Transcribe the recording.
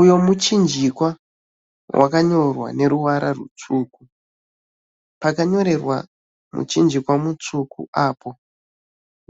Uyo muchinjikwa wakanyorwa neruvara rutsvuku. Pakanyorerwa muchinjikwa mutsvuku apo